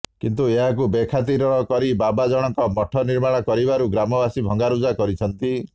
କିନ୍ତୁ ଏହାକୁ ବେଖାତିର କରି ବାବା ଜଣକ ମଠ ନିର୍ମାଣ କରିବାରୁ ଗ୍ରାମବାସୀ ଭଙ୍ଗାରୁଜା କରିଛନ୍ତି